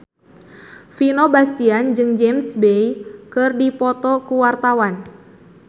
Vino Bastian jeung James Bay keur dipoto ku wartawan